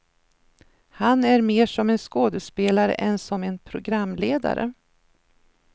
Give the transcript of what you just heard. Han är mer som en skådespelare än som en programledare.